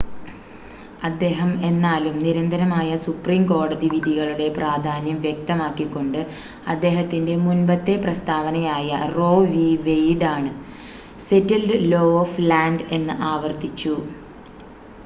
"അദ്ദേഹം എന്നാലും നിരന്തരമായ സുപ്രീം കോടതി വിധികളുടെ പ്രധാന്യം വ്യക്തമാക്കി കൊണ്ട് അദ്ദേഹത്തിന്റെ മുൻപത്തെ പ്രസ്താവനയായ റോ വി. വെയിഡ് ആണ് "സെറ്റിൽഡ്‌ ലോ ഓഫ് ലാൻഡ്" എന്ന് ആവർത്തിച്ചു.